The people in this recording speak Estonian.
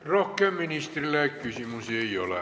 Rohkem ministrile küsimusi ei ole.